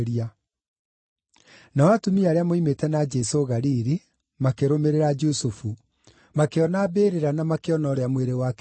Nao atumia arĩa moimĩte na Jesũ Galili makĩrũmĩrĩra Jusufu, makĩona mbĩrĩra na makĩona ũrĩa mwĩrĩ wake waigirwo ho.